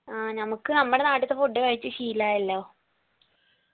ആ ഞമക്ക് നമ്മടെ നാട്ടിത്തെ food കഴിച്ച് ശീലായല്ലോ